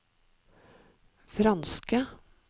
franske